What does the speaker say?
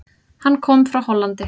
Hann kom frá Hollandi.